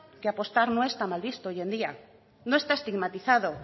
que apostar no está mal visto hoy en día no está estigmatizado